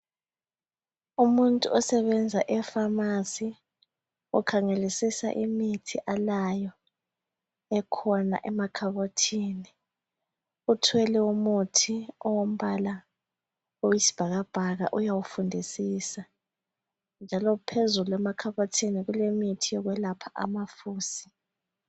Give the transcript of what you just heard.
Umuntu osebenza ephamarcy ukhangelisisa imithi alayo ekhona emakhabothini uthwele umuthi ongumbala oyisibhakabhaka uyawufundisisa njalo phezulu emakhabothini kulemithi yokwelapha amafusi.